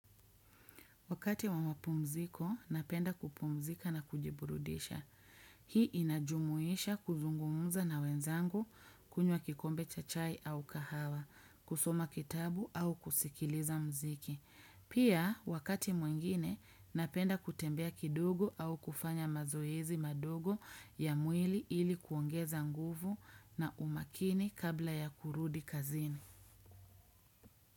Wakati wa mapumziko, napenda kupumzika na kujiburudisha. Hii inajumuisha kuzungumza na wenzangu kunywa kikombe cha chai au kahawa, kusoma kitabu au kusikiliza mziki. Pia, wakati mwingine, napenda kutembea kidogo au kufanya mazoezi madogo ya mwili ili kuongeza nguvu na umakini kabla ya kurudi kazini.